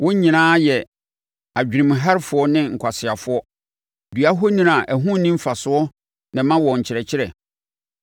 Wɔn nyinaa yɛ adwenemherɛfoɔ ne nkwaseafoɔ; dua ahoni a ɛho nni mfasoɔ na ɛma wɔn nkyerɛkyerɛ.